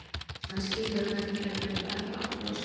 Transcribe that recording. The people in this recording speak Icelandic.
Hann skilur að þetta gæti verið verra og brosir á móti.